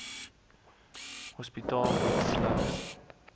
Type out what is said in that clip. hospitaal bied slegs